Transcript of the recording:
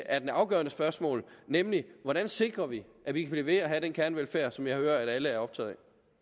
er det afgørende spørgsmål nemlig hvordan sikrer vi at vi kan blive ved med at have den kernevelfærd som jeg hører alle er optaget